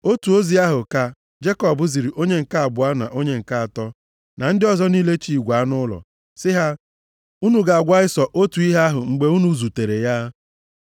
Otu ozi ahụ ka Jekọb ziri onye nke abụọ na onye nke atọ, na ndị ọzọ niile chị igwe anụ ụlọ, sị ha, “Unu ga-agwa Ịsọ otu ihe ahụ mgbe unu zutere ya.